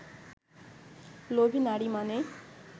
লোভী নারী মানেই